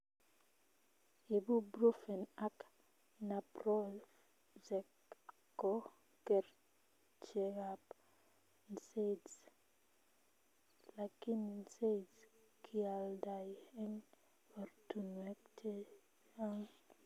Ibuprufen ak naproxen ko kerchekab nsaids lakini nsaids kealdai eng ortunwek checang